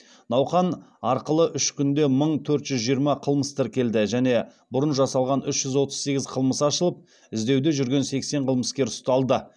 науқан арқылы үш күнде мың төрт жүз жиырма қылмыс тіркелді және бұрын жасалған үш жүз отыз сегіз қылмыс ашылып іздеуде жүрген сексен қылмыскер ұсталды